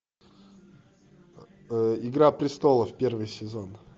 игра престолов первый сезон